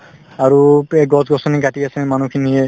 আৰু গছ-গছনি কাটি আছে মানুহখিনিয়ে